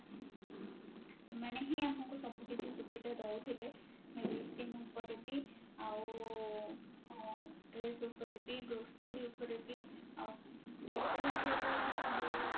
ଏମାନେ ହିଁ ଆମକୁ ସବୁକିଛି ସୁବିଧା ଦଉଥିଲେ medicine ପରେ ବି ଆଉ ଉଁ dress ଉପରେ ବି grocery ଉପରେ ବି ଆଉ grocery ଉପରେ କହିବି ଯୋଉ